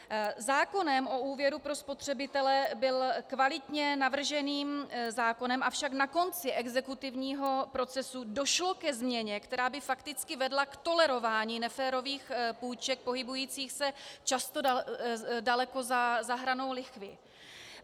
Zákon o úvěru pro spotřebitele byl kvalitně navrženým zákonem, avšak na konci exekutivního procesu došlo ke změně, která by fakticky vedla k tolerování neférových půjček pohybujících se často daleko za hranou lichvy.